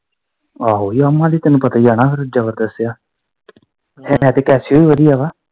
ਆਹੋ yamaha ਵੀ ਤੈਨੂੰ ਪਤਾ ਹੀ ਆ ਨਾ ਜਬਰਦਤ ਆ ਹੈ ਤੇ casio ਵੀ ਵਧੀਆ ਵਾ।